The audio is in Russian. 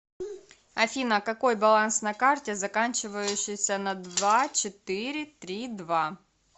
афина какой баланс на карте заканчивающейся на два четыре три два